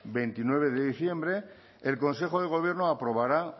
veintinueve de diciembre el consejo de gobierno aprobará